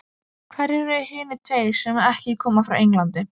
Hverjir eru hinir tveir sem ekki koma frá Englandi?